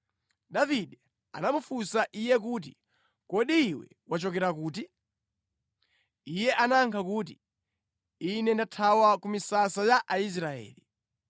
Davide anamufunsa iye kuti, “Kodi iwe wachokera kuti?” Iye anayankha kuti, “Ine ndathawa ku misasa ya Aisraeli.”